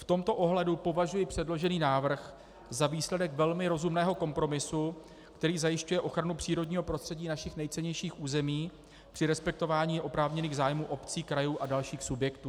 V tomto ohledu považuji předložený návrh za výsledek velmi rozumného kompromisu, který zajišťuje ochranu přírodního prostředí našich nejcennějších území při respektování oprávněných zájmů obcí, krajů a dalších subjektů.